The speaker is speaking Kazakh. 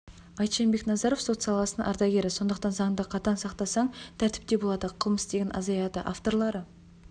айтжан бекназаров сот саласының ардагері сондықтан заңды қатаң сақтасаң тәртіп те болады қылмыс деген азаяды авторлары